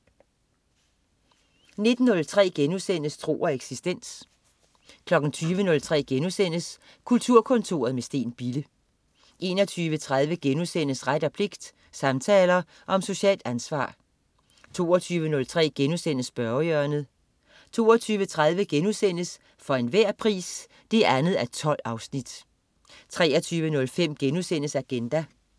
19.03 Tro og eksistens* 20.03 Kulturkontoret med Steen Bille* 21.30 Ret og pligt. Samtaler om socialt ansvar* 22.03 Spørgehjørnet* 22.30 For enhver pris 2:12* 23.05 Agenda*